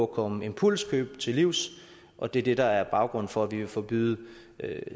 komme impulskøb til livs og det er det der er baggrunden for at vi vil forbyde